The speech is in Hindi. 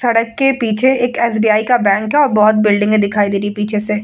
सड़क के पीछे एक एस.बी.ई का बैंक है और बोहोत बिल्डिंगे दिखाई दे रही है पीछे से।